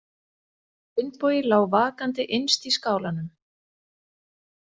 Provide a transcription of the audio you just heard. Finnbogi lá vakandi innst í skálanum.